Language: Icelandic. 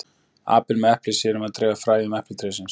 apinn með eplið sér um að dreifa fræjum eplatrésins